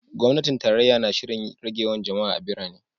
Gwamnatin tarayya na shirin rage yawan jama’a a birane.